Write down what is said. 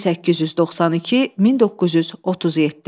1892-1937.